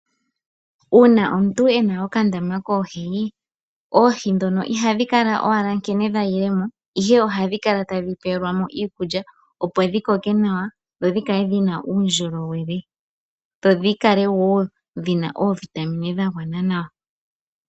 Uuna omuntu ena okandama koohi ,oohi ndhono ihadhi kala owala nkene dha yilemo ihe ohadhi kala tadhi pewe lwamo iikulya opo dhi koke nawa dho dhikale dhina uundjolowele dho dhikale wo dhina oovitamine dha gwana nawa.